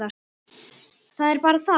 Það bara er það.